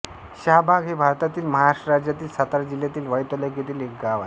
शहाबाग हे भारतातील महाराष्ट्र राज्यातील सातारा जिल्ह्यातील वाई तालुक्यातील एक गाव आहे